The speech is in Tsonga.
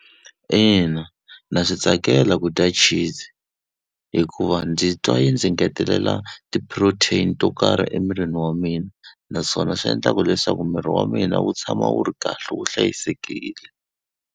Ina, ndza swi tsakela ku dya cheese, hikuva ndzi twa yi ndzi ngetelela ti-protein to karhi emirini wa mina. Naswona swi endlaka ku leswaku miri wa mina wu tshama wu ri kahle wu hlayisekile.